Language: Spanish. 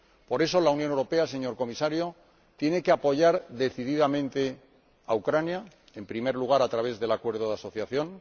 Por eso, la Unión Europea, señor Comisario, tiene que apoyar decididamente a Ucrania, en primer lugar a través del Acuerdo de asociación